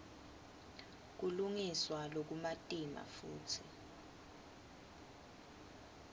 kulungiswa lokumatima futsi